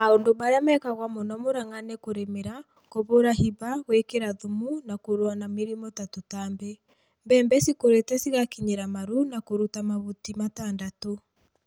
Maũndũ marĩa mekagwo mũno Murang'a nĩ kũrĩmĩra, kũhũũra hĩba, gũĩkĩra thumu, na kũrũa na mĩrimũ na tutambi. Mbembe cikurĩtĩ cigakinyĩra maru na kũruta mahuti matadatũ.